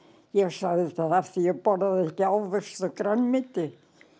ég sagði alltaf af því að ég borðaði ekki ávexti og grænmeti